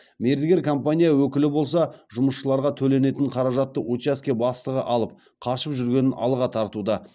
мердігер компания өкілі болса жұмысшыларға төленетін қаражатты учаске бастығы алып қашып жүргенін алға тартуда